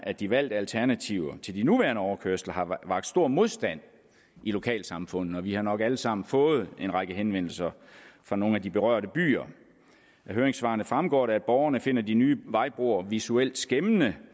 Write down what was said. at de valgte alternativer til de nuværende overkørsler har vakt stor modstand i lokalsamfundene og vi har nok alle sammen fået en række henvendelser fra nogle af de berørte byer af høringssvarene fremgår det at borgerne finder de nye vejbroer visuelt skæmmende